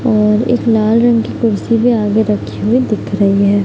और एक लाल रंग की कुर्सी पे आगे रखी हुवी दिख रही है।